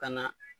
Ka na